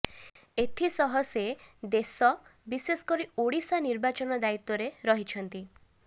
ଏଥି ସହ ସେ ଦେଶ ବିଶେଷ କରି ଓଡ଼ିଶା ନିର୍ବାଚନ ଦାୟିତ୍ୱରେ ରହିଛନ୍ତି